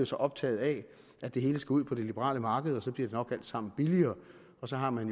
så optaget af at det hele skal ud på det liberale marked og så bliver det nok alt sammen billigere og så har man